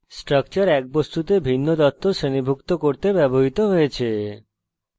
structure এক বস্তুতে ভিন্ন তথ্য শ্রেণীভুক্ত করতে ব্যবহৃত হয়েছে